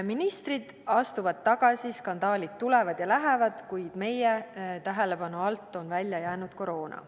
Ministrid astuvad tagasi, skandaalid tulevad ja lähevad, kuid meie tähelepanu alt on välja jäänud koroona.